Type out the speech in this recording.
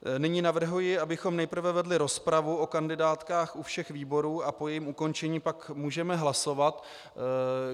Nyní navrhuji, abychom nejprve vedli rozpravu o kandidátkách u všech výborů a po jejím ukončení pak můžeme hlasovat.